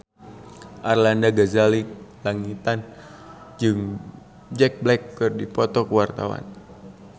Arlanda Ghazali Langitan jeung Jack Black keur dipoto ku wartawan